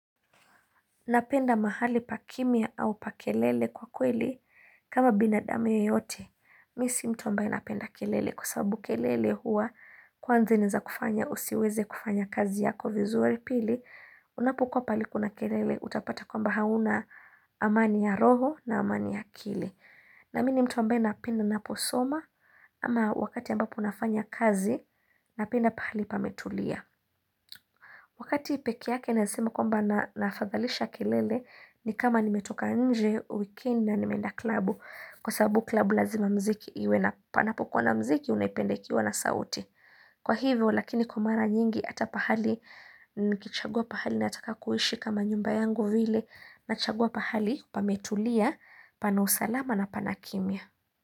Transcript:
Napenda mahali pa kimya au pa kelele? Kwa kweli kama binadamu yeyote. Mimi si mtu ambaye napenda kelele kusabu kelele huwa kwanza inaweza kufanya usiweze kufanya kazi yako vizuri pili. Unapokuwa pahali kuna kelele utapata kwamba hauna amani ya roho na amani ya akili. Na mini mtu ambaye anapenda ninaposoma ama wakati ambapo nafanya kazi napenda pahali pametulia. Wakati peke yake naeza sema kwamba na naafadhalisha kelele ni kama nimetoka nje weekend na nimenda klabu kwa sababu klabu lazima mziki iwe na panapokuwa na mziki unaipenda ikiwa na sauti. Kwa hivyo lakini kwa mara nyingi ata pahali nikichagua pahali na nataka kuhishi kama nyumba yangu vile na chagua pahali pametulia pana usalama na pana kimya.